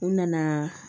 U nana